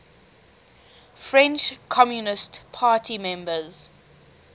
french communist party members